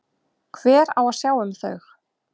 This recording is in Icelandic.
Hver á að sjá um þau?